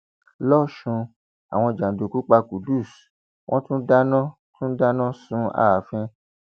lọsùn àwọn jàǹdùkú pa qudus wọn tún dáná tún dáná sun ààfin